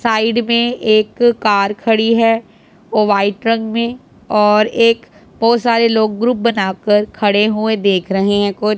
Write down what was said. side में एक car खड़ी है वो वाइट रंग में और एक बहुत सारे लोग ग्रुप बनाकर खड़े हुए देख रहे हैं कुछ--